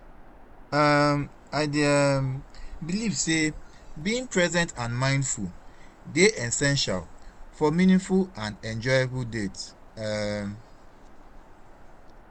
um I dey um believe say being present and mindful dey essential for meaningful and enjoyable dates. um